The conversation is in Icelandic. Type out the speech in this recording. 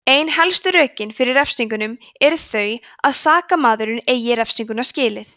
ein helstu rökin fyrir refsingum eru þau að sakamaðurinn eigi refsinguna skilið